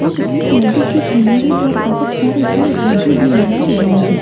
और इस नदी के किनारे पर बहुत सारे पेड़-पौधे भी लगाए गए हैं।